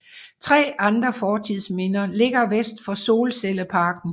Tre andre fortidsminder ligger vest for solcelleparken